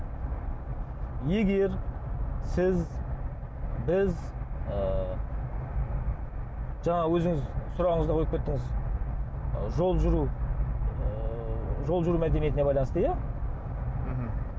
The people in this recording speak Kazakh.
егер сіз біз ы жаңағы өзіңіз сұрағыңызды қойып кеттіңіз ы жол жүру ы жол жүру мәдениетіне байланысты иә мхм